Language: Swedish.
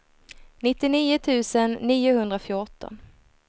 nittionio tusen niohundrafjorton